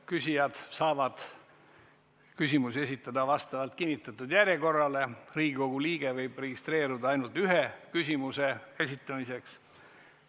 Küsijad saavad küsimusi esitada vastavalt kinnitatud järjekorrale, Riigikogu liige võib registreeruda ainult ühe küsimuse esitamiseks.